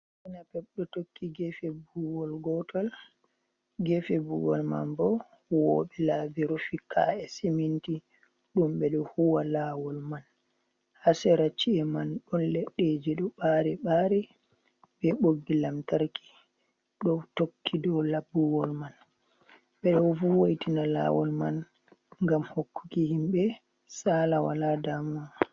Keeke napep ɗo tokki geefe buuwol gootol, geefe buuwol man bo huuwooɓe laabi rufi kaa’e Siminti, ɗum ɓe ɗo huuwa laawol man, haa sera chi’e man ɗon leɗɗeeji ɗo ɓaari ɓari be boggi lamtarki ɗo tokki dow laabuwol man, ɓe ɗo wo'itina laawol man ngam hokkuki himɓe saala walaa daamuwa.